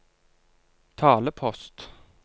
talepost